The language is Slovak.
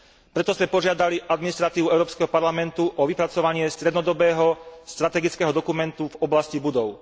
Preto sme požiadali administratívu Európskeho parlamentu o vypracovanie strednodobého strategického dokumentu v oblasti budov.